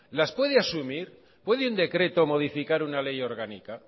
las puede asumir puede un decreto modificar una ley orgánica